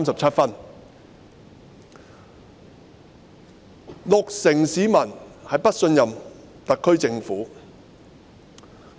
此外，六成市民不信任特區政府。